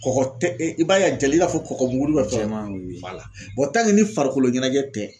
Kɔgɔ tɛ e i b'a ye a jalen i b'a fɔ kɔgɔmugu ni farikolo ɲɛnajɛ tɛ.